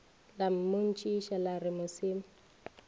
la mmotšiša la re mosima